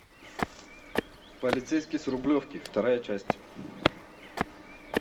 полицейский с рублевки вторая часть